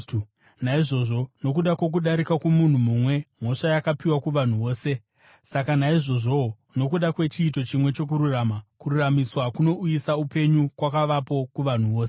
Naizvozvo, nokuda kwokudarika kwomunhu mumwe mhosva yakapiwa kuvanhu vose, saka naizvozvowo nokuda kwechiito chimwe chokururama, kururamisirwa kunouyisa upenyu kwakavapo kuvanhu vose.